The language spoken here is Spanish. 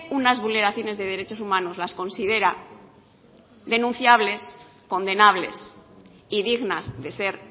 unas vulneraciones de derechos humanos las considera denunciables condenables y dignas de ser